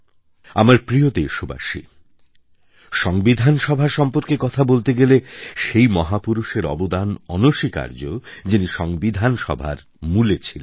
আমার প্রিয় দেশবাসী সংবিধান সভা সম্পর্কে কথা বলতে গেলে সেই মহাপুরুষের অবদান অনস্বীকার্য যিনি সংবিধান সভার মূলে ছিলেন